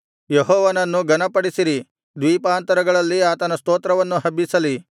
ಯೆಹೋವನನ್ನು ಘನಪಡಿಸಿ ದ್ವೀಪಾಂತರಗಳಲ್ಲಿ ಆತನ ಸ್ತೋತ್ರವನ್ನು ಹಬ್ಬಿಸಲಿ